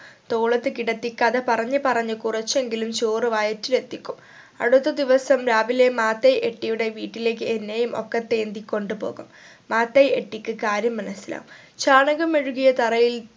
തോളത്ത് കിടത്തി കഥ പറഞ്ഞു പറഞ്ഞു കുറച്ചെങ്കിലും ചോറ് വയറ്റിൽ എത്തിക്കും അടുത്ത ദിവസം രാവിലെ മാതയ് എട്ടിയുടെ വീട്ടിലേക്ക് എന്നെയും ഒക്കത്ത് ഏന്തി കൊണ്ട് പോകും മാതയ് എട്ടിക്ക് കാര്യം മനസിലാവും ചാണകം മെഴുകിയ തറയിൽ